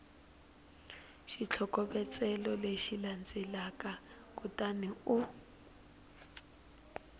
xitlhokovetselo lexi landzelaka kutani u